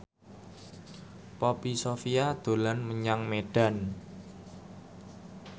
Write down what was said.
Poppy Sovia dolan menyang Medan